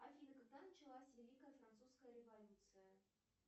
афина когда началась великая французская революция